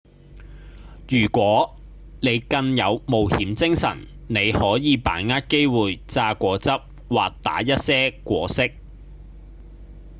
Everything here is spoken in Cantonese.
如果你更有冒險精神你可以把握機會榨果汁或打一些果昔：